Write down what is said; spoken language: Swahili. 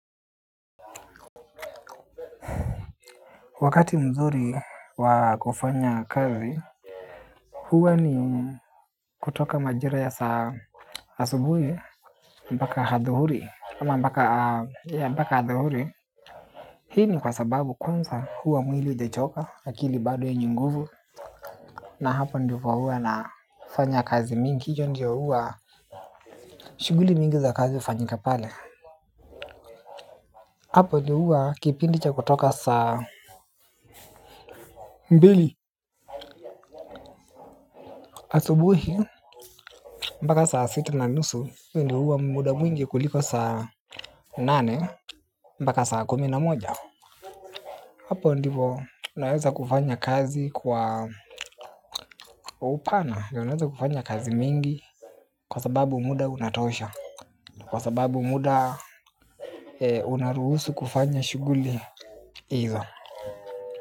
Wakati mzuri wa kufanya kazi, huwa ni kutoka majira ya saa asubuhi, mpaka hadhuhuri. Ama mpaka, ya mpaka hadhuhuri. Hii ni kwa sababu kwanza huwa mwili hujechoka, akili bado yenye nguvu. Na hapo ndivo huwa nafanya kazi mingi. Hiyo ndio huwa shughuli mingi za kazi hufanyika pale. Hapo ndio huwa kipindi cha kutoka saa mbili asubuhi. Asubuhi, mpaka saa sita na nusu, ndo huwa muda mwingi kuliko saa nane, mpaka saa kumi na moja. Hapo ndipo, naweza kufanya kazi kwa upana, naweza kufanya kazi mingi, kwa sababu muda unatosha, kwa sababu muda unaruhusu kufanya shughuli hizo.